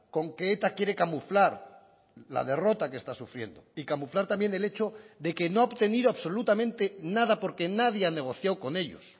con que eta quiere camuflar la derrota que está sufriendo y camuflar también el hecho de que no ha obtenido absolutamente nada porque nadie ha negociado con ellos